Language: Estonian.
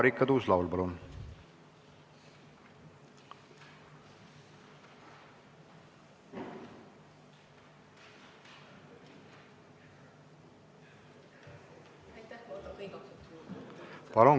Marika Tuus-Laul, palun!